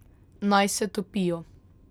Naj se topijo.